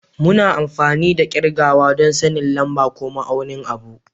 Muna amfani da kirgawa don sanin lamba ko ma'aunin abu